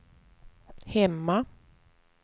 hemma